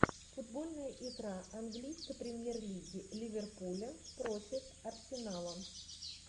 футбольная игра английской премьер лиги ливерпуля против арсенала